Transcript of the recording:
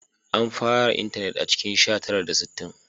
An fara intanet a cikin sha tara da sittin